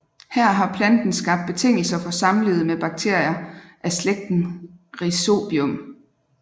Her har planten skabt betingelser for samlivet med bakterier af slægten Rhizobium